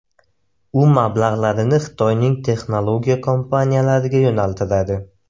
U mablag‘larini Xitoyning texnologiya kompaniyalariga yo‘naltiradi.